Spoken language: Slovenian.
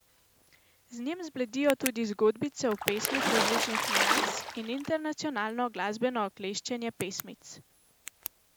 Z njim zbledijo tudi zgodbice v pesmih različnih nians in intencionalno glasbeno okleščenje pesmic.